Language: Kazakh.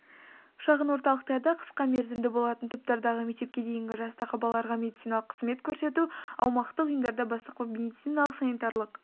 шағын орталықтарда қысқа мерзімде болатын топтардағы мектепке дейінгі жастағы балаларға медициналық қызмет көрсету аумақтық ұйымдарда бастапқы медициналық-санитарлық